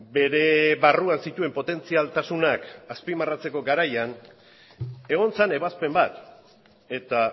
bere barruan zituen potentzialtasunak azpimarratzeko garaian egon zen ebazpen bat eta